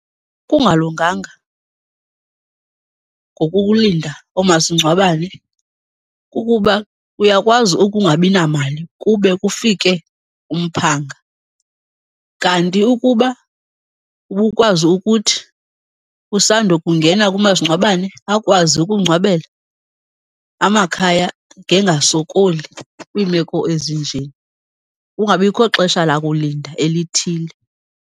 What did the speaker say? Kungalunganga ngokulinda oomasingcwabane kukuba uyakwazi ukungabi namali kube kufike umphanga. Kanti ukuba ubukwazi ukuthi usando kungena kumasingcwabane akwazi ukungcwabela, amakhaya ngeyengasokoli kwiimeko ezinje, kungabikho xesha lakulinda elithile.